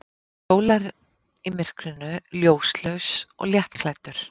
Hann hjólar í myrkrinu, ljóslaus og léttklæddur.